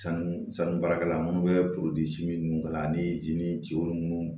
Sanu san sanu baarakɛla munnu bɛ minnu kala ani